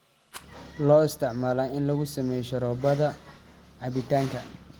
Loo isticmaalo in lagu sameeyo sharoobada cabitaanka.